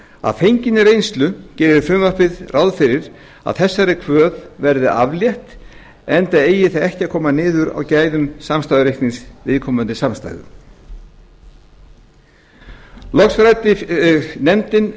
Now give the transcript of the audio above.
að fenginni reynslu gerir frumvarpið nú ráð fyrir að þessar kvöð verði aflétt enda eigi það ekki að koma niður á gæðum samstæðureiknings viðkomandi samstæðu loks ræddi nefndin